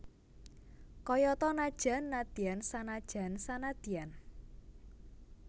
Kayata najan nadyan sanajan sanadyan